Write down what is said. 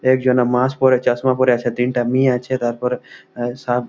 একজনে মাস্ক পরে চশমা পরে আছে তিনটা মেয়ে আছে তারপরে এ সাব--